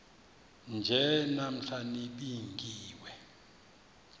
nje namhla nibingiwe